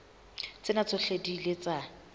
tsena tsohle di ile tsa